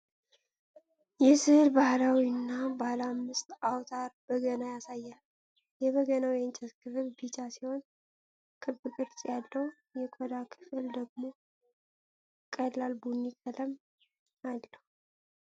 ይህ ሥዕል ባህላዊውን ባለ አምስት አውታር በገና ያሳያል። የበገናው የእንጨት ክፍል ቢጫ ሲሆን፣ ክብ ቅርጽ ያለው የቆዳው ክፍል ደግሞ ቀላል ቡኒ ቀለም አለው።